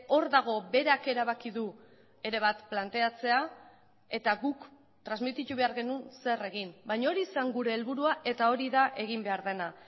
hor dago berak erabaki du ere bat planteatzea eta guk transmititu behar genuen zer egin baina hori zen gure helburua eta hori da egin behar dena